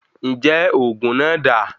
Njẹ oògùn náà dáa?